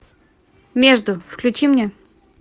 между включи мне